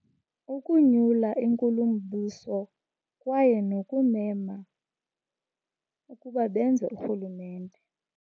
Ukunyula inkulumbuso kwaye nokumema ukuba benze urhulumente.